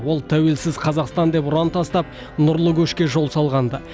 ол тәуелсіз қазақстан деп ұран тастап нұрлы көшке жол салған ды